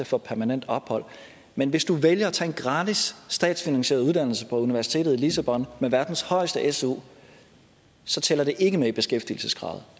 få permanent ophold men hvis du vælger at tage en gratis statsfinansieret uddannelse på universitetet i lissabon med verdens højeste su så tæller det ikke med i beskæftigelseskravet